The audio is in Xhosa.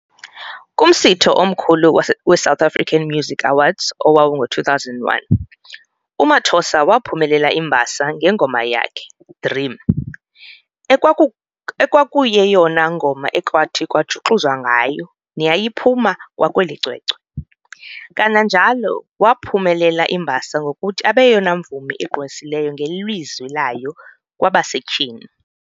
Kumsitho omkhulu weSouth African Music Awards owawungo-2001, uMathosa waphumelela imbasa ngengoma yakhe, 'dream' ekwakuyeyona ngoma ekwathi kwajuxuzwa ngayo neyayiphuma kwakweli cwecwe, kananjalo waphumelela imbasa ngokuthi abeyeyona mvumi igqwesileyo ngelizwi layo kwabasetyhini.